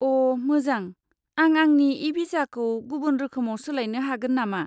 अ', मोजां। आं आंनि इ भिसाखौ गुबुन रोखोमाव सोलायनो हागोन नामा?